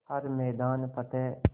हर मैदान फ़तेह